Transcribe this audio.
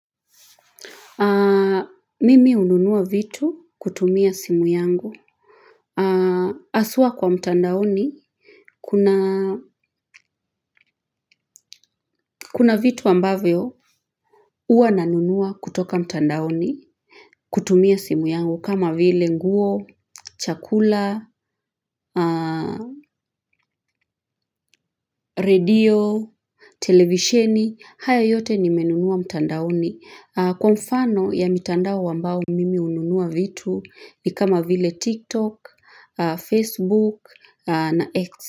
Mimi hununua vitu kutumia simu yangu. Haswa kwa mtandaoni, kuna vitu ambavyo hua nanunua kutoka mtandaoni kutumia simu yangu kama vile nguo, chakula, radio, televisheni, haya yote nimenunua mtandaoni. Kwa mfano ya mitandao ambayo mimi hununua vitu ni kama vile TikTok, Facebook na X.